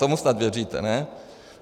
Tomu snad věříte, ne?